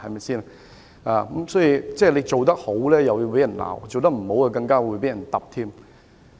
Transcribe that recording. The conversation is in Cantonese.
總之，他做得好要捱罵，做得不好更會被嚴厲指責。